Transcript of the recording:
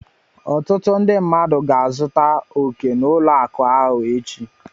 Ọtụtụ ndị mmadụ ga-aga zụta oke n'ụlọ akụ echi.